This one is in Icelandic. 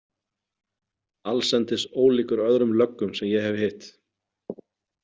Allsendis ólíkur öðrum löggum sem ég hef hitt.